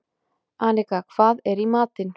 Anika, hvað er í matinn?